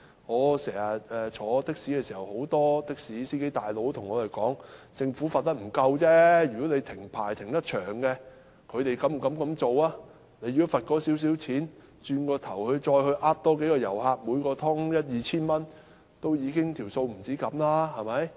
我乘的士的時候，很多的士司機對我說，政府的懲罰並不夠重，如果他們要長時間停牌，便不敢這樣做；若只是罰款了事，他們其後可再欺騙其他遊客，每次騙取一二千元，便可取回罰款的金額。